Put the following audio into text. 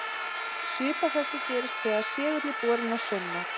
Svipað þessu gerist þegar segull er borinn að saumnál.